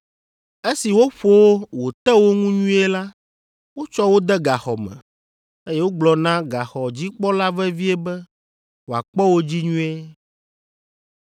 Esi woƒo wo wòte wo ŋu nyuie la, wotsɔ wo de gaxɔ me, eye wogblɔ na gaxɔdzikpɔla vevie be wòakpɔ wo dzi nyuie.